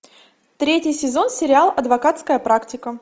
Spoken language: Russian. третий сезон сериал адвокатская практика